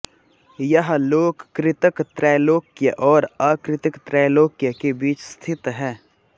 यह लोक कृतक त्रैलोक्य और अकृतक त्रैलोक्य के बीच स्थित है